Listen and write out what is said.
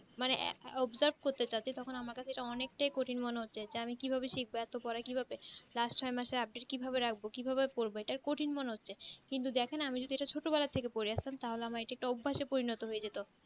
মানে observe করতে যাই তখন আমার কাছে ইটা অনেকটাই কঠিন মনে হচ্ছে যে আমি ইটা কি ভাবে শিখবো ইটা পড়া কি ভাবে last ছয় মাসে appeal কি ভাবে রাখবো কিভাবে পড়বো এটা কঠিন মনে হচ্ছে কিন্তু দেখেন আমি যদি ইটা ছোটবেলা থেকে করে আসতাম তাহলে এটা অভ্যাস এ পরিণত হয়ে যেত